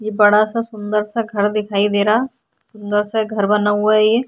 ये बड़ा सा सुंदर सा घर दिखाई दे रहा। सुंदर सा घर बना हुआ है ये।